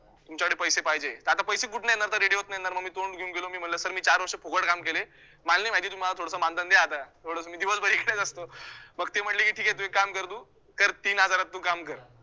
तुमच्याकडे पैसे पाहिजे, तर आता पैसे कुठनं येणार तर radio तनं येणार, मग मी तोंड घेऊन गेलो मी म्हणलो sir मी चार वर्ष फुकटं काम केलं, मला नाही माहीती तुम्ही मला थोडंसं मानधन द्या आता थोडंसं मी दिवसभर एकटाच असतो मग ते म्हंटले की ठिके तु एक काम कर तु कर तीन हजारात तु काम कर